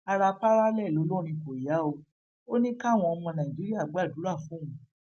ara parallel olórin kò yá o ò ní káwọn ọmọ nàìjíríà gbàdúrà fóun